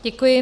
Děkuji.